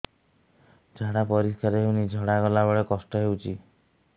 ଝାଡା ପରିସ୍କାର ହେଉନି ଝାଡ଼ା ଗଲା ବେଳେ କଷ୍ଟ ହେଉଚି